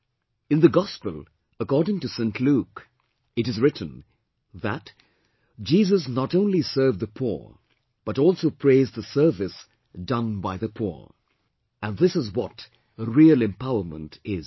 " In the Gospel According to Saint Luke, it is written that "Jesus not only served the poor but also praised the service done by the poor," and this is what real empowerment is